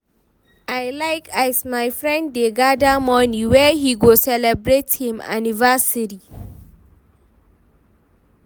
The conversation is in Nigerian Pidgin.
I like as my friend dey gather money wey he go celebrate him anniversary